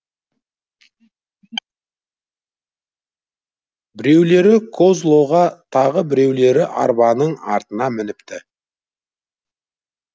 біреулері козлоға тағы біреулері арбаның артына мініпті